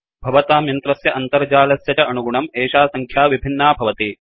भवतां यन्त्रस्य अन्तर्जालस्य च अनुगुणं एषा सङ्ख्या विभिन्ना भवति